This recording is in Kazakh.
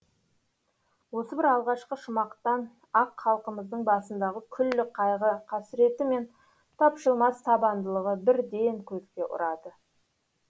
осы бір алғашқы шумақтан ақ халқымыздың басындағы күллі қайғы қасіреті мен тапжылмас табандылығы бірден көзге ұрады